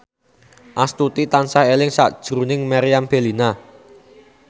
Astuti tansah eling sakjroning Meriam Bellina